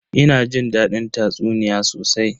Ina jin dadin tatsuniya sosai.